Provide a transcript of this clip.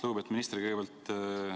Lugupeetud minister!